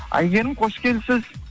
әйгерім қош келіпсіз